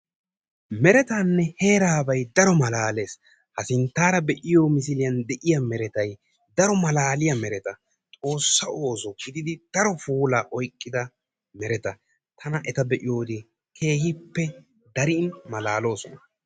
Merettaanee heerabay tana daro malaalees. ha sinttaara be'iyoo misiliyaan de'iyaa merettay daro malaliyaa meretta. xoossa ooso giididi daro puula oyqqida meretta. tana etta be'iyoode keehin maloolosona.